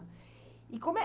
E como é